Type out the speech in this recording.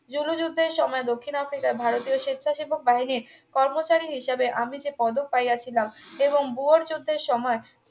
Zulu যুদ্ধের সময় দক্ষিণ আফ্রিকার ভারতের স্বেচ্ছাসেবক বাহিনীর কর্মচারী হিসাবে আমি যে পদক পাইয়াছিলাম এবং বুয়র যুদ্ধের সময়ে